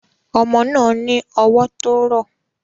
Ọmọ náà ní ọwọ́ tó rọ̀